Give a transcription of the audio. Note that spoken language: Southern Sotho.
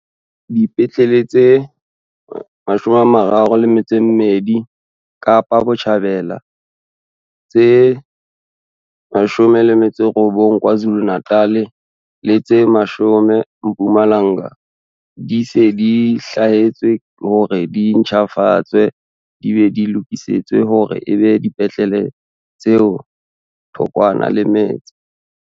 Dipetlele tse 32 Kapa Botjhabela, tse 19 KwaZulu-Natal le tse 10 Mpumalanga di se di hlwaetswe hore di ntjhafatswe di be di lokisetswe hore e be dipetlele tse thokwana le metse.